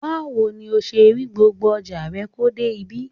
Báwo ni o ṣe rí gbogbo ọjà rẹ kó dé ibí?